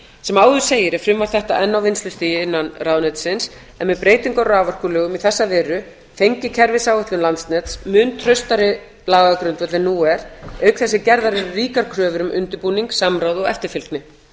sem áður segir er frumvarp þetta enn á vinnslustigi innan ráðuneytisins en með breytingu á raforkulögum í þessa veru fengi kerfisáætlun landsnets mun traustari lagagrundvöll en nú er auk þess sem gerðar eru ríkar kröfur um undirbúning samráð og eftirfylgni